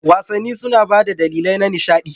Wasanni suna ba da dalilai na nishaɗi